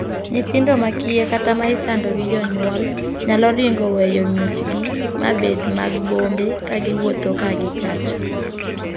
Nyithindo ma kiye kata ma isando gi jonyuol nyalo ringo weyo miechgi ma bed mag bombe ka giwuotho ka gi kacha.